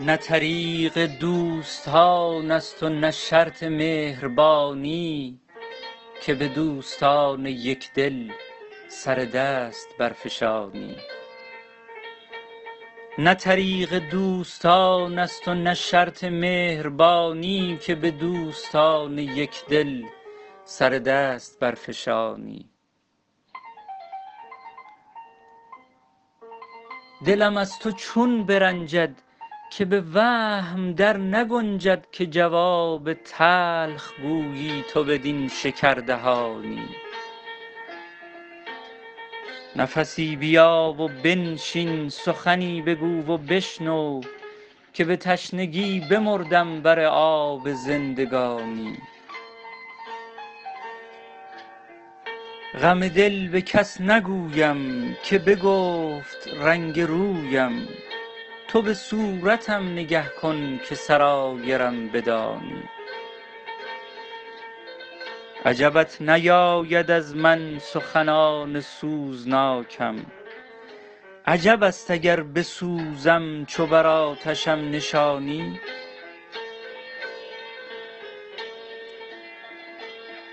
نه طریق دوستان است و نه شرط مهربانی که به دوستان یک دل سر دست برفشانی دلم از تو چون برنجد که به وهم در نگنجد که جواب تلخ گویی تو بدین شکردهانی نفسی بیا و بنشین سخنی بگو و بشنو که به تشنگی بمردم بر آب زندگانی غم دل به کس نگویم که بگفت رنگ رویم تو به صورتم نگه کن که سرایرم بدانی عجبت نیاید از من سخنان سوزناکم عجب است اگر بسوزم چو بر آتشم نشانی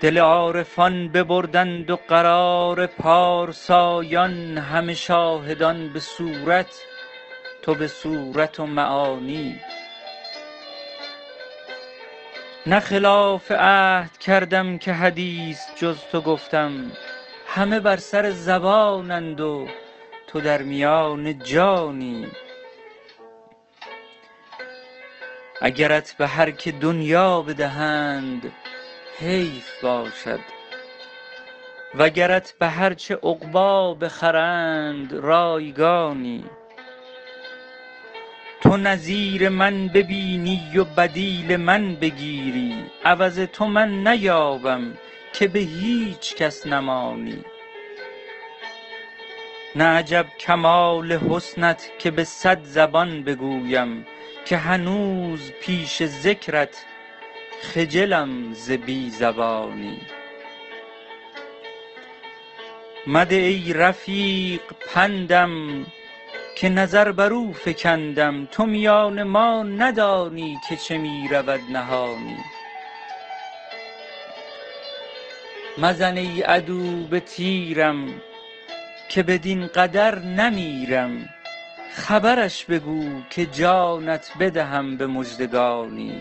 دل عارفان ببردند و قرار پارسایان همه شاهدان به صورت تو به صورت و معانی نه خلاف عهد کردم که حدیث جز تو گفتم همه بر سر زبانند و تو در میان جانی اگرت به هر که دنیا بدهند حیف باشد وگرت به هر چه عقبی بخرند رایگانی تو نظیر من ببینی و بدیل من بگیری عوض تو من نیابم که به هیچ کس نمانی نه عجب کمال حسنت که به صد زبان بگویم که هنوز پیش ذکرت خجلم ز بی زبانی مده ای رفیق پندم که نظر بر او فکندم تو میان ما ندانی که چه می رود نهانی مزن ای عدو به تیرم که بدین قدر نمیرم خبرش بگو که جانت بدهم به مژدگانی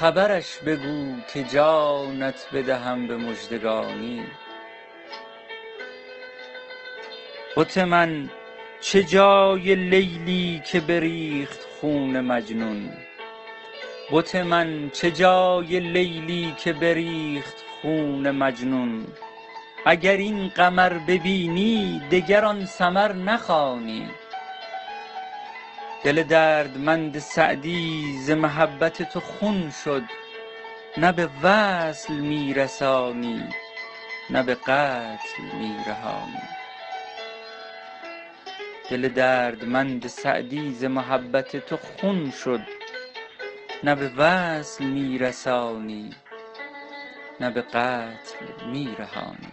بت من چه جای لیلی که بریخت خون مجنون اگر این قمر ببینی دگر آن سمر نخوانی دل دردمند سعدی ز محبت تو خون شد نه به وصل می رسانی نه به قتل می رهانی